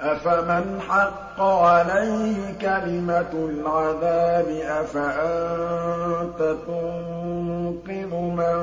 أَفَمَنْ حَقَّ عَلَيْهِ كَلِمَةُ الْعَذَابِ أَفَأَنتَ تُنقِذُ مَن